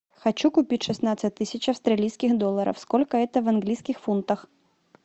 хочу купить шестнадцать тысяч австралийских долларов сколько это в английских фунтах